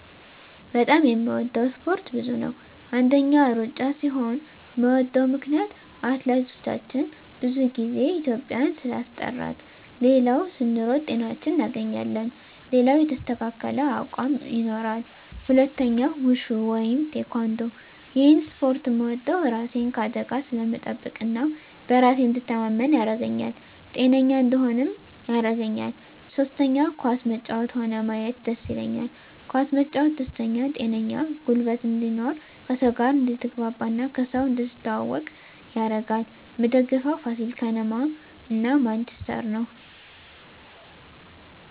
በጣም የምወደው እስፓርት ብዙ ነው አንደኛ እሩጫ ሲሆን ምወደው ምክነያት አትሌቶቻችን ብዙ ግዜ ኢትዩጵያን ስላስጠራት ሌላው ስንሮጥ ጤናችን እናገኛለን ሌላው የተስተካከለ አቅም ይኖራል ሁለተኛው ውሹ ወይም ቲካንዶ እሄን እስፖርት ምወደው እራሴን ከአደጋ ስለምጠብቅ እና በራሴ እንድተማመን ያረገኛል ጤነኛ እንድሆንም ያረገኛል ሶስተኛ ኳስ መጫወት ሆነ ማየት ደስ ይለኛል ኳስ መጫወት ደስተኛ ጤነኛ ጉልበት እንድኖር ከሰው ጋር አድትግባባ እና ከሰው እንድትተዋወቅ ያረጋል ምደግፈው ፋሲል ከነማ እና ማንችስተር ነው